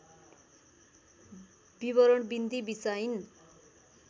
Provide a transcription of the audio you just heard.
विवरण बिन्ती बिसाइन्